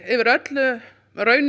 yfir öllu í raun